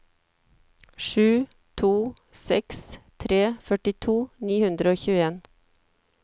sju to seks tre førtito ni hundre og tjueen